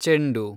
ಚೆಂಡು